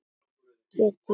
Getur þetta verið rétt?